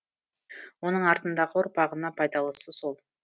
оның артындағы ұрпағына пайдалысы сол